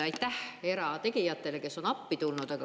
Aitäh erategijatele, kes on appi tulnud!